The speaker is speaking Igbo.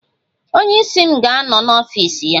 Onye isi m ga-anọ n'ọfịs ya.